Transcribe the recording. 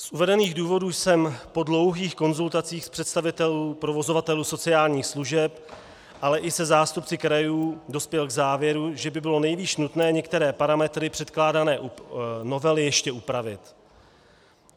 Z uvedených důvodů jsem po dlouhých konzultacích s představiteli provozovatelů sociálních služeb, ale i se zástupci krajů dospěl k závěru, že by bylo nejvýš nutné některé parametry předkládané novely ještě upravit.